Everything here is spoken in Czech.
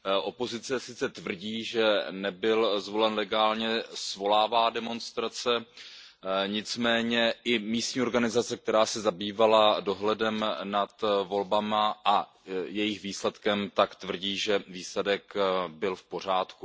Opozice sice tvrdí, že nebyl zvolen legálně, svolává demonstrace, nicméně i místní organizace, která se zabývala dohledem nad volbami a jejich výsledkem, tvrdí, že výsledek byl v pořádku.